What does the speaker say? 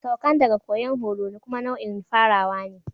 Saukan daga koyan horo kuma nau'in farawa ne.